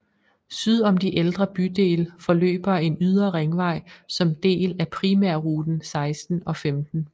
Syd om de ældre bydele forløber en ydre ringvej som del af primærruten 16 og 15